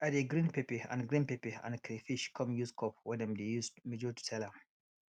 i dey grind pepper and grind pepper and crayfish come use cup wey dem dey use measure to sell am